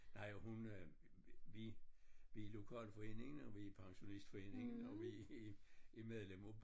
Nej og hun øh vi vi i lokalforeningen og vi i pensionistforeningen og vi i i medlem af